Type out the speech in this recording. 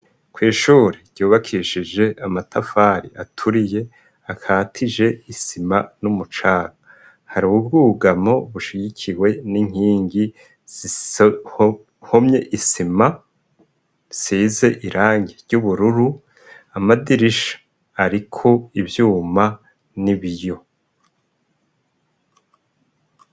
Kw'ishuri ryubakishije amatafari aturiye akatije isima n'umucanga. Hari ubwugamo bushigikiwe n'inkingi zihomye isima, zisize irangi ry'ubururu. Amadirisha ariko ivyuma n'ibiyo.